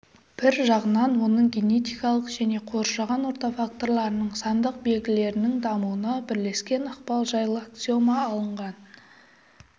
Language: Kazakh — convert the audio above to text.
бір жағынан оның генетикалық және қоршаған орта факторларының сандық белгілерінің дамуына бірлескен ықпалы жайлы аксиома алынған